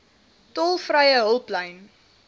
tolvrye hulplyn